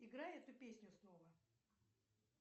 играй эту песню снова